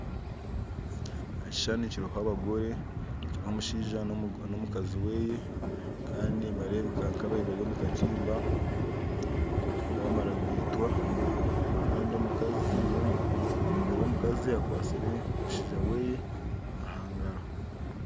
Ekihushani kiriho abagore kiriho omushaija na omukazi we Kandi nibarebeka nkababaire bari mu katimba bamara kugaitwa Kandi omugore omukazi akwatsire omushaija we omu ngaaro